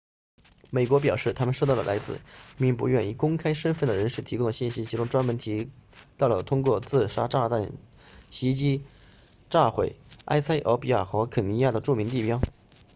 美国表示他们收到了来自一名不愿公开身份的人士提供的信息其中专门提到了通过自杀炸弹袭击者炸毁埃塞俄比亚和肯尼亚的'著名地标'